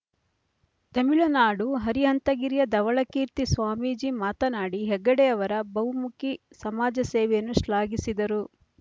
ತಮಿಳುನಾಡು ಅರಿಹಂತಗಿರಿಯ ಧವಳಕೀರ್ತಿ ಸ್ವಾಮೀಜಿ ಮಾತನಾಡಿ ಹೆಗ್ಗಡೆಯವರ ಬಹುಮುಖಿ ಸಮಾಜ ಸೇವೆಯನ್ನು ಶ್ಲಾಘಿಸಿದರು